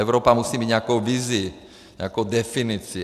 Evropa musí mít nějakou vizi, nějakou definici.